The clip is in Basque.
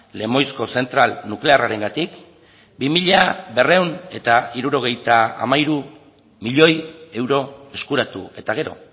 lemoizko zentral nuklearrarengatik bi mila berrehun eta hirurogeita hamairu milioi euro eskuratu eta gero